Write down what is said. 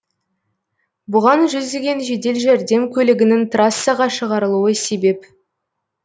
бұған жүздеген жедел жәрдем көлігінің трассаға шығарылуы себеп